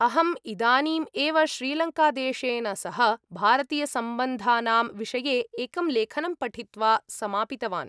अहम् इदानीम् एव श्रीलङ्कादेशेन सह भारतीयसम्बन्धानां विषये एकं लेखनं पठित्वा समापितवान्।